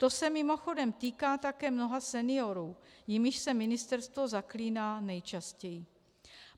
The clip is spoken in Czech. To se mimochodem týká také mnoha seniorů, jimiž se ministerstvo zaklíná nejčastěji.